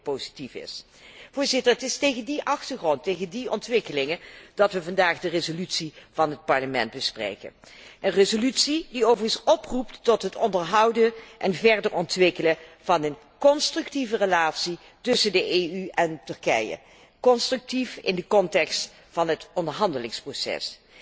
Ik denk dat dit positief is. Het is tegen die achtergrond en in het licht van die ontwikkelingen dat wij vandaag de resolutie van het Parlement bespreken, een resolutie die overigens oproept tot het onderhouden en verder ontwikkelen van een constructieve relatie tussen de EU en Turkije, constructief in de context van het onderhandelingsproces.